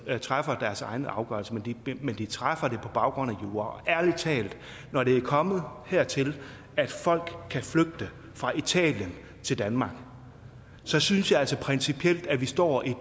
træffer deres egne afgørelser men de træffer dem på baggrund af jura og ærlig talt når det er kommet hertil at folk kan flygte fra italien til danmark synes synes jeg altså principielt at vi står i en